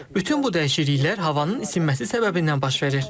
Bütün bu dəyişikliklər havanın isinməsi səbəbindən baş verir.